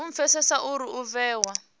u pfesesa uri u vhewa